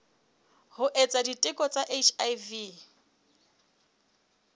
ho etsa diteko tsa hiv